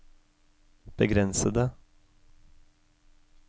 begrensede